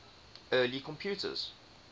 early computers